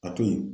A toyi